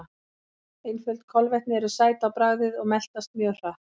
Einföld kolvetni eru sæt á bragðið og meltast mjög hratt.